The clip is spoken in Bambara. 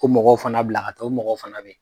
O mɔgɔw fana bila ka taa, o mɔgɔw fana be ye.